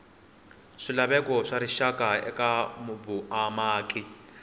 swilaveko swa rixaka eka vumaki